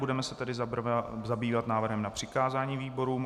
Budeme se tedy zabývat návrhem na přikázání výborům.